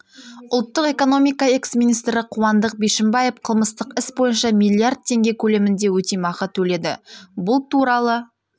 ұлттық экономика экс министрі қуандық бишімбаев қылмыстық іс бойынша миллиард теңге көлемінде өтемақы төледі бұл туралы